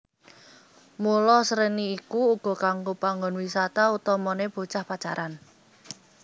Mula Sreni iku uga kanggo panggon wisata utamane bocah pacaran